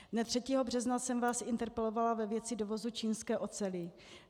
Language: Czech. Dne 3. března jsem vás interpelovala ve věci dovozu čínské oceli.